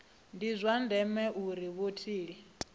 ndi zwa ndeme uri vhatholi